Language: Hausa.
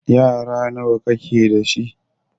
Yara nawa ka ke da shi?